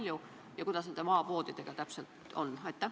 Kui kasvab, siis kui palju ja kuidas nende maapoodidega ikkagi on?